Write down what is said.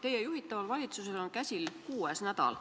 Teie juhitaval valitsusel on käsil kuues töönädal.